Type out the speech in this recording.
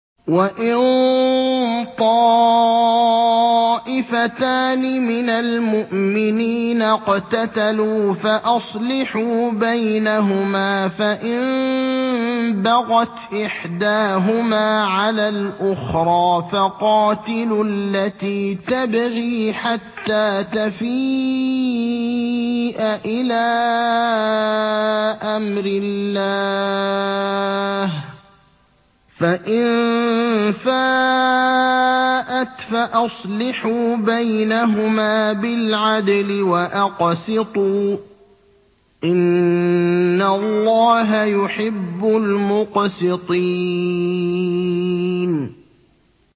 وَإِن طَائِفَتَانِ مِنَ الْمُؤْمِنِينَ اقْتَتَلُوا فَأَصْلِحُوا بَيْنَهُمَا ۖ فَإِن بَغَتْ إِحْدَاهُمَا عَلَى الْأُخْرَىٰ فَقَاتِلُوا الَّتِي تَبْغِي حَتَّىٰ تَفِيءَ إِلَىٰ أَمْرِ اللَّهِ ۚ فَإِن فَاءَتْ فَأَصْلِحُوا بَيْنَهُمَا بِالْعَدْلِ وَأَقْسِطُوا ۖ إِنَّ اللَّهَ يُحِبُّ الْمُقْسِطِينَ